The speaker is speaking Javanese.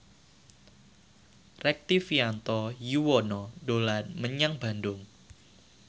Rektivianto Yoewono dolan menyang Bandung